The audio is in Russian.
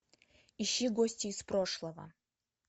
ищи гости из прошлого